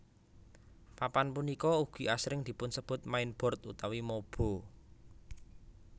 Papan punika ugi asring dipunsebut mainboard utawi mobo